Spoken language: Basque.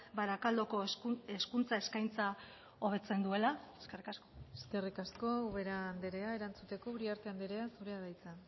barakaldoko hezkuntza eskaintza hobetzen duela eskerrik asko eskerrik asko ubera andrea erantzuteko uriarte andrea zurea da hitza